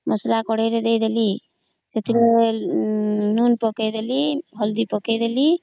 ମସଲା କଡେଇ ରେ ଦେଇଦେଲି ସେଥିର ଲୁଣ ପକେଇଦେଲି ହଳଦୀ ପକେଇଦେଲି